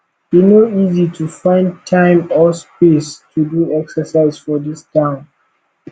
e no dey easy to find time or space to do exercise for dis town